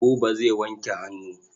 Buba zai wanke hannu.